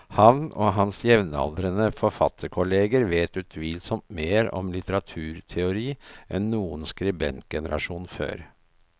Han og hans jevnaldrende forfatterkolleger vet utvilsomt mer om litteraturteori enn noen skribentgenerasjon før.